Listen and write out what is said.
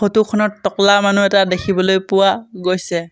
Photo খনত টকলা মানুহ এটা দেখিবলৈ পোৱা গৈছে।